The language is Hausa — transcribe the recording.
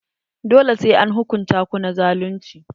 Dole sai an hukunta ku na zalunci.